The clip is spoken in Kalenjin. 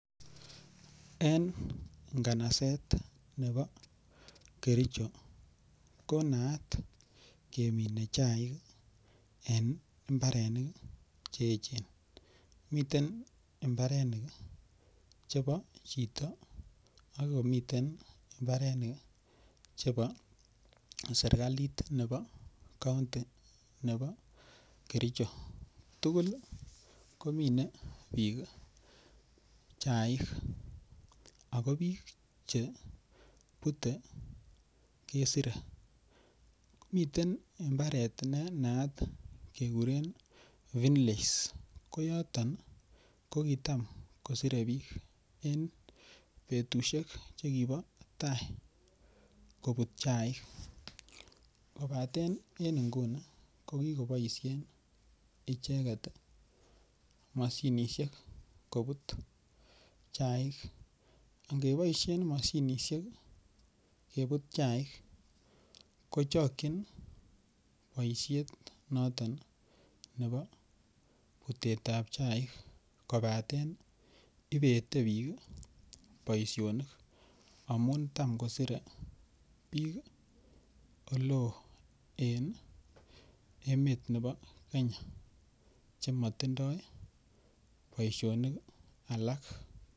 En nganaset nebo Kericho konaat kemine chaik en imbarenik cheechen, miten imbarenik chebo chito ak komiten imbarenik chebo sirkalit nebo county nebo Kericho tugul komine bik chaik ako bik chebute kesire, komiten imbaret nenaat kekuren Finlays koyoton kokitam kosire bik en betushek chekibo tai kobut chaik, kobaten en inguni kokikoboishen icheket moshinishek kobut chaik, ingeboishen moshinishek kebut chaik kochokchin booshet noton nebo butetab chaik kobaten ibete bik boishonik amun tam kosire bik oleo en emet nebo Kenya chemotindo boishonik alak.